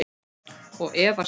Og efast enn.